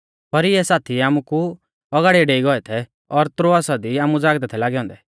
पर इऐ साथी आमुकु औगाड़िऐ डेई गौऐ थै और त्रोआसा दी आमु ज़ागदै थै लागै औन्दै